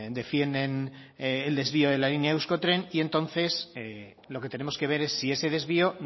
defienden el desvío de la línea de euskotren y entonces lo que tenemos que ver es si ese desvío